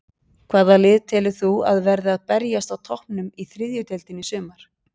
Hvaða lið telur þú að verði að berjast á toppnum í þriðju deildinni í sumar?